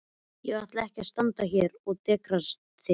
Ég ætla ekki að standa hér og dekstra þig.